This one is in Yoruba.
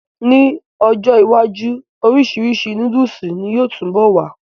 N ọjọ́ iwájú, orisirisi nóódùsì ni yóò túbọ̀ wà